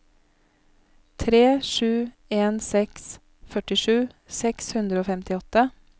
tre sju en seks førtisju seks hundre og femtiåtte